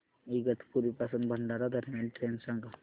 इगतपुरी पासून भंडारा दरम्यान ट्रेन सांगा